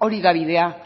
hori da bidea